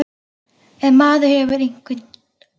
En maður hefur einhver ráð.